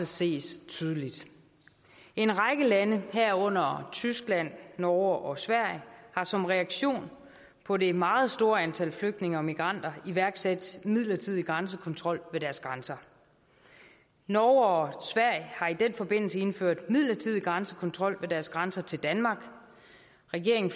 ses tydeligt en række lande herunder tyskland norge og sverige har som reaktion på det meget store antal flygtninge og migranter iværksat midlertidig grænsekontrol ved deres grænser norge og sverige har i den forbindelse indført midlertidig grænsekontrol ved deres grænser til danmark regeringen